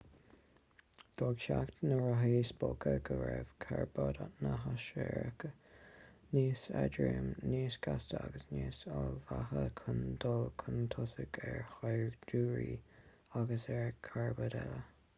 d'fhág teacht na rothaí spóca go raibh carbaid na naisiriach níos éadroime níos gasta agus níos ullmhaithe chun dul chun tosaigh ar shaighdiúirí agus ar charbaid eile